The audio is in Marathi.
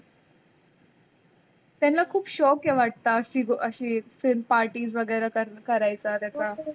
त्याना खूप शौक आहे वाट अशी अशी parties वगैरे कऱायचा